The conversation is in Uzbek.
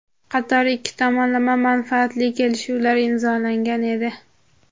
qator ikki tomonlama manfaatli kelishuvlar imzolangan edi.